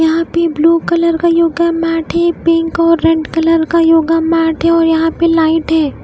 यहां पे blue colour का योग मैट है पिंक और रेड कलर का योग मैट है और यहाँ पे लाइट है।